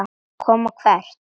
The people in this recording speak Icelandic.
Koma hvert?